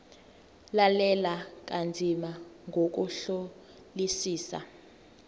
lalela kanzima ngokuhlolisisa